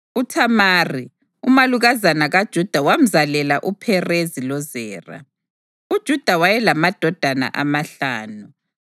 UThamari, umalukazana kaJuda wamzalela uPherezi loZera. UJuda wayelamadodana amahlanu.